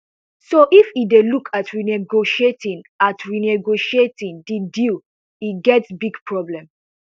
so if e dey look at renegotiating at renegotiating di deal e get big problems